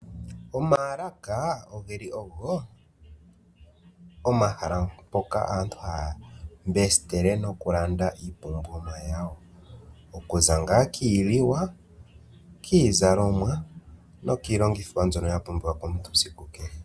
Omaalaka oge li ogo omahala mpoka aantu haya mbesitele nokulanda iipumbiwa yawo okuza ngaa kiiliwa, kiizalomwa nokiilongitho mbyono ya pumbiwa komuntu siku kehe.